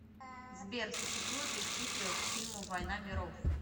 сбер существует ли сиквел к фильму воина миров